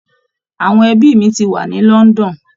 Àwọn ẹbi mi ti wà ní London